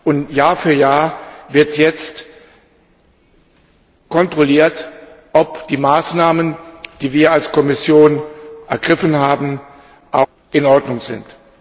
Und Jahr für Jahr wird jetzt kontrolliert, ob die Maßnahmen, die wir als Kommission ergriffen haben, auch in Ordnung sind.